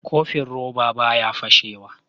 Kofin roba baya fashe wa